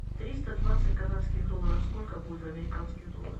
триста двадцать канадских долларов сколько будет в американских долларах